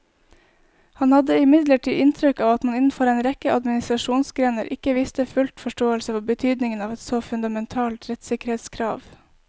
Han hadde imidlertid inntrykk av at man innenfor en rekke administrasjonsgrener ikke viste full forståelse for betydningen av et så fundamentalt rettssikkerhetskrav.